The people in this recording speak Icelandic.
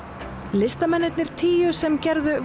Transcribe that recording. listamennirnir tíu sem gerðu